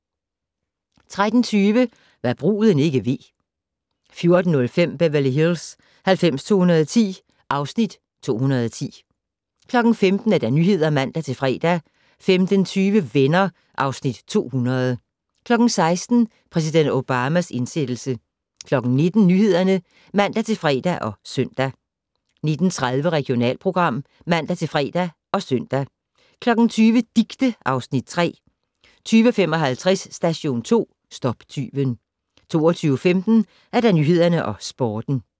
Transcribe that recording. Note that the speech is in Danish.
13:20: Hva' bruden ikke ved 14:05: Beverly Hills 90210 (Afs. 210) 15:00: Nyhederne (man-fre) 15:20: Venner (Afs. 200) 16:00: Præsident Obamas indsættelse 19:00: Nyhederne (man-fre og søn) 19:30: Regionalprogram (man-fre og søn) 20:00: Dicte (Afs. 3) 20:55: Station 2 - stop tyven 22:15: Nyhederne og Sporten